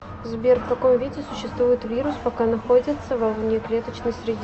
сбер в каком виде существует вирус пока находится во внеклеточной среде